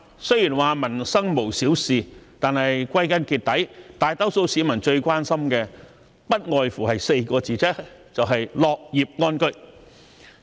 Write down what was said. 雖說民生無小事，但歸根結底，大多數市民最關心的不外乎4個字，就是"樂業安居"。